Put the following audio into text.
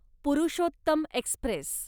Purushottam Express